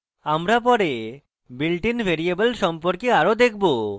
আমরা পরে built in variable সম্পর্কে আরো দেখবো